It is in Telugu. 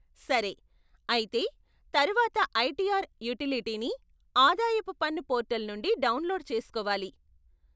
సరే, అయితే తర్వాత ఐటీఆర్ యూటిలిటీని ఆదాయపు పన్ను పోర్టల్ నుండి డౌన్లోడ్ చేస్కోవాలి.